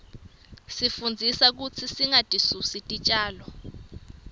isifundzisa kutsi singatisusi titjalo